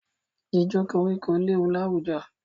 Jíjó koríko léwu láwùjọ.